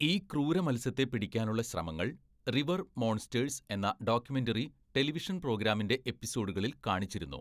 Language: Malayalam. ഈ ക്രൂര മത്സ്യത്തെ പിടിക്കാനുള്ള ശ്രമങ്ങൾ, 'റിവർ മോൺസ്റ്റേഴ്സ്' എന്ന ഡോക്യുമെൻ്ററി ടെലിവിഷൻ പ്രോഗ്രാമിൻ്റെ എപ്പിസോഡുകളിൽ കാണിച്ചിരുന്നു.